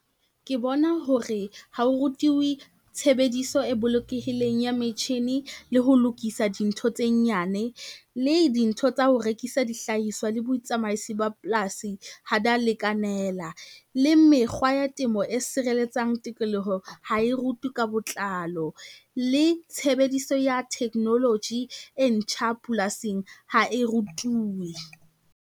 Ke bona hore ha o rutiwe, tshebediso e bolokehileng ya metjhine le ho lokisa dintho tse nyane, le dintho tsa ho rekisa dihlahiswa le botsamaisi ba polasi ha dia lekanela. Le mekgwa ya temo e sireletsang tikoloho ha e rutuwe ka botlalo, le tshebediso ya technology e ntjha polasing ha e rutuwe.